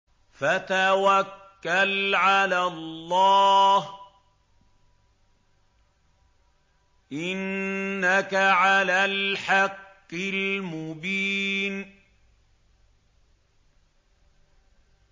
فَتَوَكَّلْ عَلَى اللَّهِ ۖ إِنَّكَ عَلَى الْحَقِّ الْمُبِينِ